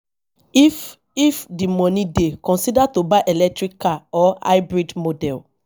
if if di money dey consider to buy electric car or hybrid model